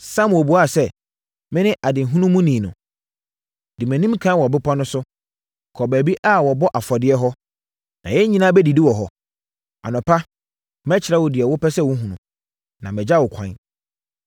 Samuel buaa sɛ, “Mene adehunumuni no. Di mʼanim ɛkan wɔ bepɔ no so, kɔ baabi a wɔbɔ afɔdeɛ hɔ, na yɛn nyinaa bɛdidi wɔ hɔ. Anɔpa, mɛkyerɛ wo deɛ wopɛ sɛ wohunu, na magya wo ɛkwan.